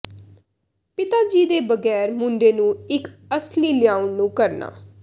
ਪਿਤਾ ਜੀ ਦੇ ਬਗੈਰ ਮੁੰਡੇ ਨੂੰ ਇੱਕ ਅਸਲੀ ਲਿਆਉਣ ਨੂੰ ਕਰਨਾ